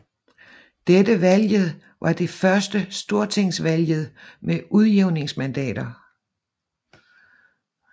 Dette valget var det første stortingsvalget med udjævningsmandater